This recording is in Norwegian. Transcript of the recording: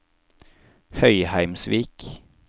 Høyheimsvik